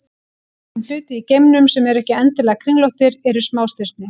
Dæmi um hluti í geimnum sem eru ekki endilega kringlóttir eru smástirni.